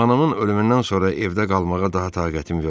Anamın ölümündən sonra evdə qalmağa daha taqətim yoxdur.